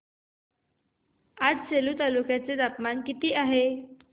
आज सेलू तालुक्या चे तापमान किती आहे